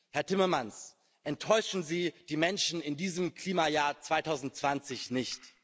Herr Timmermans, enttäuschen Sie die Menschen in diesem Klimajahr 2020 nicht!